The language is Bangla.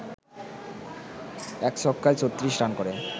১ ছক্কায় ৩৬ রান করে